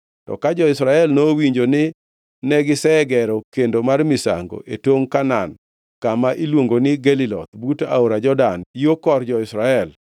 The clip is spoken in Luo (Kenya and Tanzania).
To ka jo-Israel nowinjo ni negisegero kendo mar misango e tongʼ Kanaan kama iluongo ni Geliloth but aora Jordan yo kor jo-Israel,